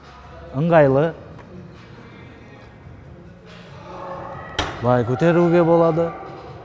ыңғайлы былай көтеруге болады